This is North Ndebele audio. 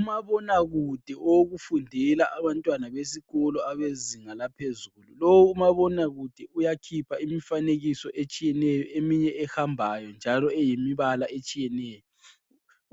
Umabonakude owokufundela abantwana besikolo abezinga laphezulu. Lo umabonakude uyakhipha imifanekiso etshiyeneyo eminye ehambayo njalo eyimbala etshiyeneyo.